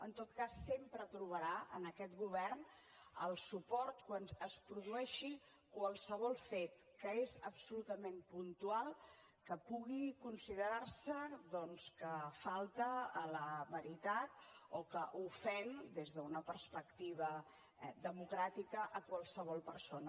en tot cas sempre trobarà en aquest govern el suport quan es produeixi qualsevol fet que és absolutament puntual que pugui considerar se doncs que falta a la veritat o que ofèn des d’una perspectiva democràtica a qualsevol persona